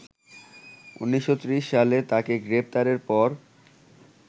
১৯৩০ সালে তাকে গ্রেপ্তারের পর